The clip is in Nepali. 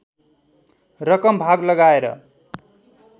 रकम भाग लगाएर